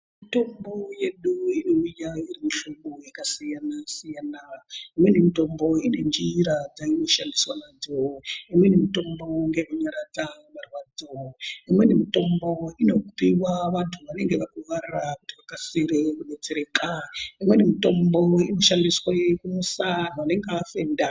Mitombo yedu inouya iri mu hlobo yaka siyana siyana imweni mitombo ine njira dzaino shandiswa nadzo imweni mitombo ngeye kunyaradza marwadzo imweni mitombo inopiwa vantu vanenge varwara kuti vakasire ku detsereka imweni mitombo ino shandiswe kumusa vanenge vafenda.